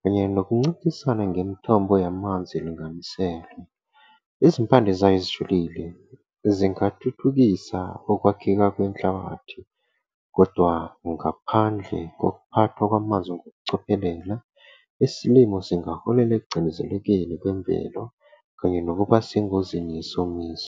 kanye nokuncintisana ngemithombo yamanzi elinganiselwe. Izimpande zayo zijulile, zingathuthukisa ukwakheka kwenhlabathi, kodwa ngaphandle kokuphathwa kwamanzi ngokucophelela, isilimo zingaholela ekucindezelekeni kwemvelo kanye nokuba sengozini yesomiso.